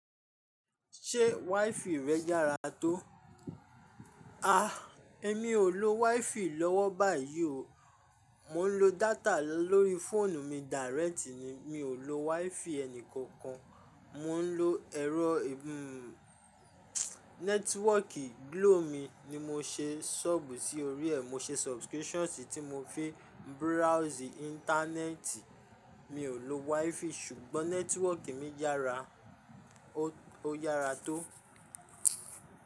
Ṣé WiFi rẹ yára tó? A! Èmi ò lo WiFi lọ́wọ́ báyìí o. Mò ń lo data lórí fóònù mi direct ni. Mi ò lo WiFi ẹnìkankan. Mò ń lo ẹ̀rọ e-- nẹ́tíwọ́kì Glo mi ni mo ṣe sub sí orí ẹ̀. Mo ṣe subscription tí mo fi browse Íńtánẹ́ẹ̀tì. Mi ò lo WiFi ṣùgbọ́n nẹ́tíwọ́kì mi yára. Ó, ó yára tó.